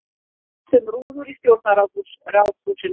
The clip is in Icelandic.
Skipt um rúður í Stjórnarráðshúsinu